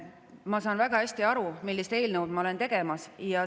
Ma saan väga hästi aru, millist eelnõu ma olen.